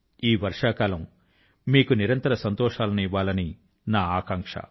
ఈ వర్షాకాలం మీకు నిరంతర సంతోషాల ను ఇవ్వాలని నా ఆకాంక్ష